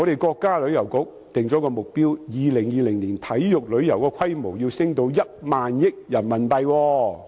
國家旅遊局訂定了一個目標，就是在2020年，體育旅遊的規模要提升至1萬億元人民幣。